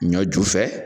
Ɲɔ ju fɛ